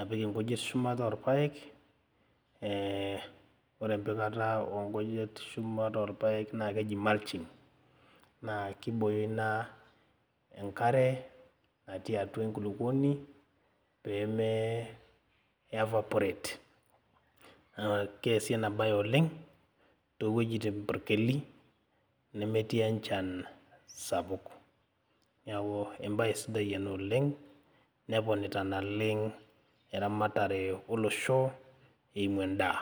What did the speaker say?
apik inkujit shumata orpayek eh ore empikata onkujit shumata orpayek naa keji mulching naa kibooyo ina enkare natii atua enkulupuoni peeme evaporate naa keesi ena baye oleng towuejitin purkeli nemetii enchan sapuk niaku embaye sidai ena oleng neponita naleng eramatare olosho eimu endaa.